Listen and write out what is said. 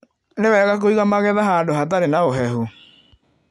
Nĩ wega kũiga magetha handũ hatarĩ na ũhehu